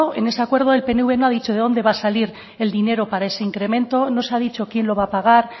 en ese acuerdo el pnv no ha dicho de dónde va a salir el dinero para ese incremento no se ha dicho quién lo va a pagar